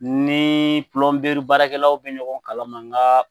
Ni baarakɛlaw bɛ ɲɔgɔn kalama